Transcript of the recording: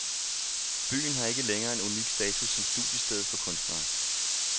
Byen har ikke længere en unik status som studiested for kunstnere.